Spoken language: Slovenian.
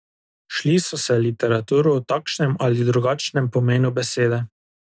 Šli so se literaturo v takšnem ali drugačnem pomenu besede.